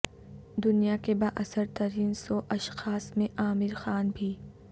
دنیا کے بااثر ترین سو اشخاص میں عامر خان بھی